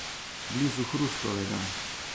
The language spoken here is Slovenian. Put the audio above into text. Blizu Hrustovega.